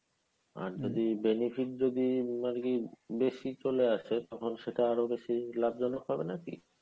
আর যদি benefit যদি আর কী বেশি চলে আসে তখন সেটা আরো বেশ লাভজনক হবে নাকি।